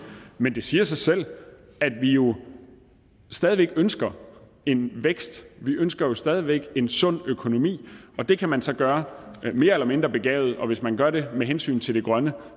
men det siger sig selv at vi jo stadig væk ønsker en vækst vi ønsker stadig væk en sund økonomi og det kan man så gøre mere eller mindre begavet og hvis man gør det med hensyn til det grønne